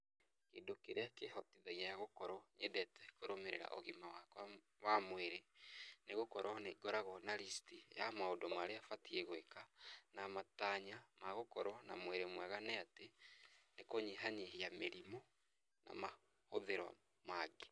Kĩndũ kĩrĩa kĩĩhotithagia gũkorwo nyendete kũrũmĩrĩra ũgima wakwa wa mwĩrĩ, ni gũkorũo nĩ ngoragwo na list ya maũndũ marĩa batiĩ gwĩka, na matanya ma gũkorwo na mwĩrĩ mwega nĩ atĩ, kũnyahanyihia mĩrimũ na mahũthĩro mangĩ.